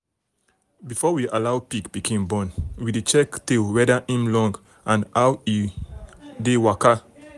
before we allow pig pikin born we dey check tail weda im long and how e how e dey waka.